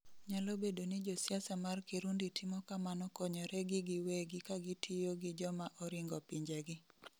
nyalo bedo ni josiasa mar Kirundi timo kamano konyoregi giwegi kagitiyo gi joma oringo pinjegi